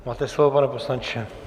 Máte slovo, pane poslanče.